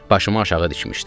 Başımı aşağı dikmişdim.